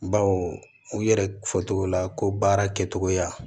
Baw u yɛrɛ fɔcogo la ko baara kɛcogoya